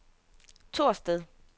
Thorsted